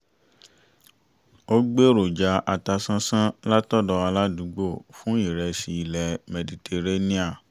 ó gbèròjà atasánsán látọ̀dò aládùúgbò fún ìrẹsì ilẹ̀ mẹditaréníà